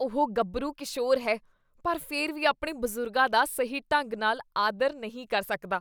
ਉਹ ਗੱਭਰੂ ਕਿਸ਼ੋਰ ਹੈ ਪਰ ਫਿਰ ਵੀ ਆਪਣੇ ਬਜ਼ੁਰਗਾਂ ਦਾ ਸਹੀ ਢੰਗ ਨਾਲ ਆਦਰ ਨਹੀਂ ਕਰ ਸਕਦਾ।